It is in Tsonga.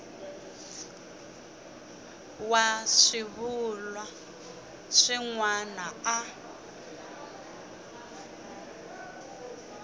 wa swivulwa swin wana a